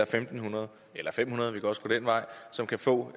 fem hundrede eller fem hundrede vi kan også gå den vej som kan få